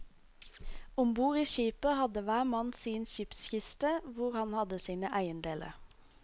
Ombord i skipet hadde hver mann sin skipskiste hvor han hadde sine eiendeler.